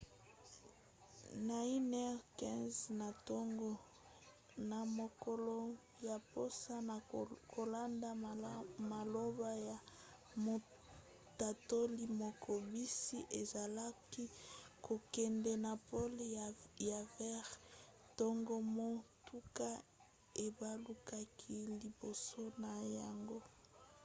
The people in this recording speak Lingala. na 1:15 na ntongo na mokolo ya poso na kolanda maloba ya motatoli moko bisi ezalaki kokende na pole ya vert ntango motuka ebalukaki liboso na yango